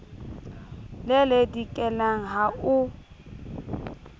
le le dikelang ha o